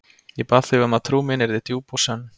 Ég bað þig um að trú mín yrði djúp og sönn.